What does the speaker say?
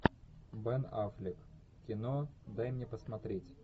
бен аффлек кино дай мне посмотреть